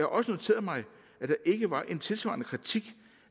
også noteret mig at der ikke var en tilsvarende kritik